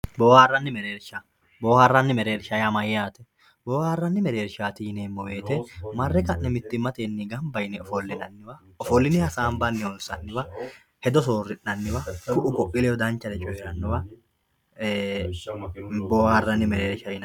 Booharani mereersha boharani mereersha yaa mayate booharani merershat yinemowoyite mare ka`ne mitimmate ganba yine ofolinani ofoline hasanbani honsaniwa hedo soorinaniwa ku`u ku`uii ledo danchare coyiranowa booharani mereersha yinani.